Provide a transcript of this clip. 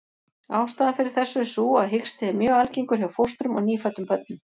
Ástæðan fyrir þessu er sú að hiksti er mjög algengur hjá fóstrum og nýfæddum börnum.